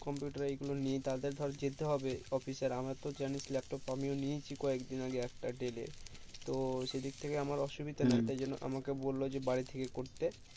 computer গুলো নেই তাদের ধর যেতে হবে office এ আর আমাদের তো জানিস laptop আমিও নিয়েছি কয়েক দিন আগে একটা dell এর তো সেই দিক থেকে আমার অসুবিধা নাই তাই জন্য আমাকে বললো যে বাড়ি থেকেই করতে